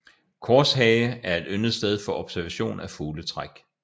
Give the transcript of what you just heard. Korshage er et yndet sted for observation af fugletræk